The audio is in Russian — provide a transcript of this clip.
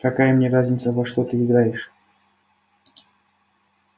какая мне разница во что ты играешь